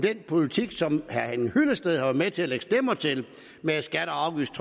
den politik som herre henning hyllested har været med til at lægge stemmer til med et skatte